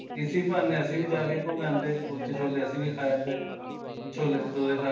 ਇਸੀ ਬਹਾਨੇ ਅਸੀਂ ਵੀ ਜਾ ਕੇ ਘੁੰਮ ਆਂਦੇ ਕੁਲਚੇ ਛੋਲੇ ਅਸੀਂ ਵੀ ਖਾ ਆਂਦੇ ਛੋਲੇ ਭਟੂਰੇ ਖਾ